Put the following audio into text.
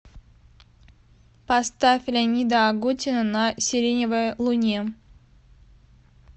поставь леонида агутина на сиреневой луне